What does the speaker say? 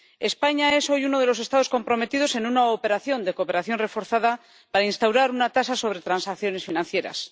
España es hoy uno de los Estados comprometidos en una operación de cooperación reforzada para instaurar una tasa sobre transacciones financieras.